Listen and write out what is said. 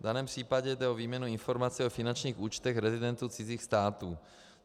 V daném případě jde o výměnu informací o finančních účtech rezidentů cizích států.